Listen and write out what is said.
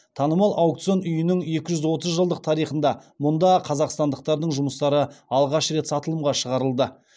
танымал аукцион үйінің екі жүз отыз жылдық тарихында мұнда қазақстандықтардың жұмыстары алғаш рет сатылымға шығарылды